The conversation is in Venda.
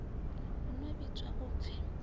hu no vhidzwa u pfi